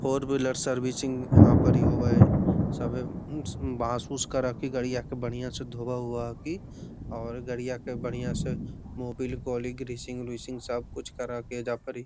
four wheeler servicing यहाँ परी होवा है सभी एम बांस-उस के रखी गाड़ियां क धोवा-उवा हाकि और गड़िया के बढ़ियां से मोबिल कोलिन ग्रीसिंग - उरिसिंग सब कुछ करा के ऐजा परी --